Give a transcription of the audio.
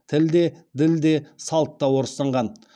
тіл де діл де салт та орыстанған